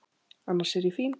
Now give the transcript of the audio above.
Annars er ég fín.